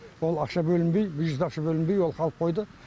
сол ақша бөлінбей бюджет ақша бөлінбей ол қалып қойды